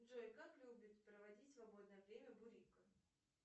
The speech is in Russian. джой как любит проводить свободное время бурико